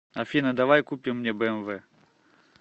афина давай купим мне бмв